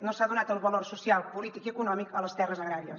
no s’ha donat el valor social polític i econòmic a les terres agràries